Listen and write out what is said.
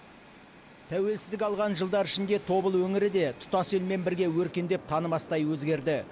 тәуелсіздік алған жылдар ішінде тобыл өңірі де тұтас елмен бірге өркендеп танымастай өзгерді